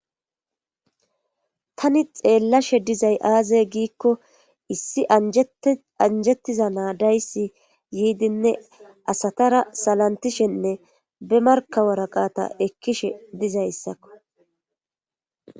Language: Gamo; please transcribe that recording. Tani xeellashe dizay aaze giikko issi anjettiza naadayssi yiidinne asatara salantishenne be markawaraqata ekkishe dizayssakko